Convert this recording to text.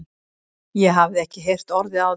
Ég hafði ekki heyrt orðið áður.